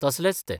तसलेच ते.